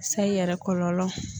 Sayi yɛrɛ kɔlɔlɔ.